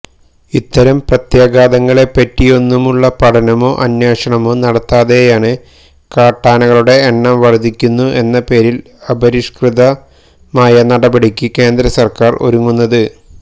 ഇത്തരം പ്രത്യാഘാതങ്ങളെപ്പറ്റിയൊന്നുമുള്ള പഠനമോ അന്വേഷണമോ നടത്താതെയാണ് കാട്ടാനകളുടെ എണ്ണം വര്ദ്ധിക്കുന്നു എന്ന പേരില് അപരിഷ്കൃതമായ നടപടിക്ക് കേന്ദ്രസര്ക്കാര് ഒരുങ്ങുന്നത്